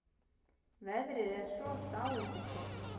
Veðrið er svo dáindisgott.